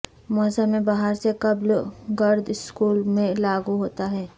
موسم بہار سے قبل گرڈ سکول میں لاگو ہوتا ہے